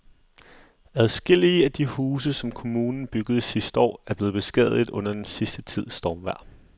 Adskillige af de huse, som kommunen byggede sidste år, er blevet beskadiget under den sidste tids stormvejr.